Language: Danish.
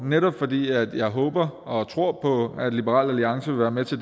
netop fordi jeg håber og tror på at liberal alliance vil være med til